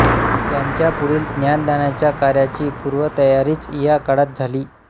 त्यांच्या पुढील ज्ञानदानाच्या कार्याची पूर्वतयारीच या काळात झाली